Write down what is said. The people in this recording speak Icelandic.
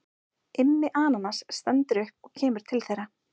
Immi ananas stendur upp og kemur til þeirra.